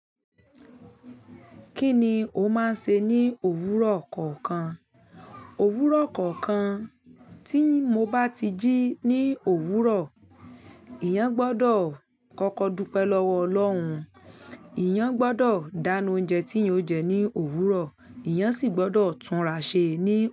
Kí ni o máa ń ṣe ní òwúrọ̀ kọ̀ọ̀kan? Òwúrọ̀ kọ̀ọ̀kan tí mo bá ti jí ní òwúrọ̀, èèyàn gbọdọ̀ kọ́kọ dúpẹ́ lọ́wọ́ Ọlọ́run, èèyàn gbọdọ̀ dáná oúnjẹ tí ò ń jẹ ní òwúrọ̀, èèyàn sì gbọdọ̀ tun raṣé ní òwúrọ̀